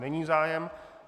Není zájem.